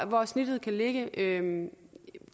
hvor snittet kan ligge